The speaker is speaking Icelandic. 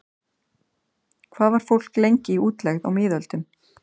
Hvað var fólk lengi í útlegð á miðöldum?